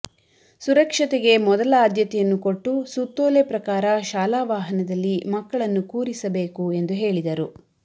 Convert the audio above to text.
ಸುರಕ್ಷತೆಗೆ ಮೊದಲ ಆದ್ಯತೆಯನ್ನು ಕೊಟ್ಟು ಸುತ್ತೋಲೆ ಪ್ರಕಾರ ಶಾಲಾ ವಾಹನದಲ್ಲಿ ಮಕ್ಕಳನ್ನು ಕೂರಿಸಬೇಕು ಎಂದು ಹೇಳಿದರು